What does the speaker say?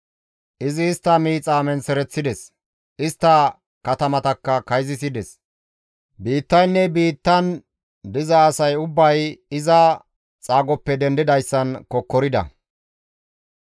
Izi istta miixa menththereththides; istta katamatakka kayzisides; Biittaynne biittan diza asay ubbay iza xaagoppe dendidayssan kokkorida.